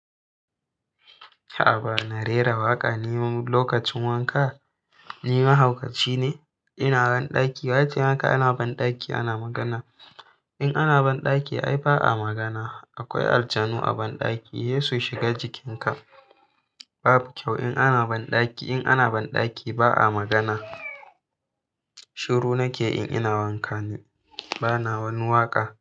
A ba na rera waƙa ni lokacin wanka? Ni mahaukaci ne? Ina banɗaki, wa ya ce maka ana banɗaki ana magana? In ana banɗaki ai ba a magana. Akwai aljanu a banɗaki, he su shiga jikinka. Babu kyau in ana banɗaki. In ana banɗaki ba a magana. Shiru nake in ina wanka ne, bana wani waƙa.